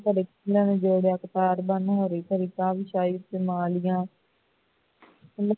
ਬੰਨ੍ਹੋ ਰਹੀ